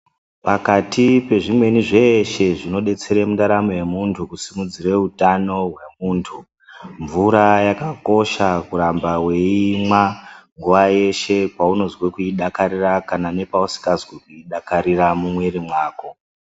Pakati pezvimweni zveeshe zvinodetsere mundaramo yemuntu, kusimudzire utano, hwemuntu mvura yakakosha kuramba weiimwa, nguwa yeshe paunozwe kuidakarira kana nepausikazwi kuidakarira mumwiri mwako.